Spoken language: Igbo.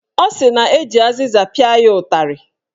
Ọ sị na eji azịza pịa ya ụtarị.